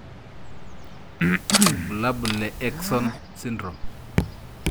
Ibulabul le Akesson syndrome.